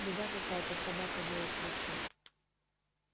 беда какая-то собака воет в лесу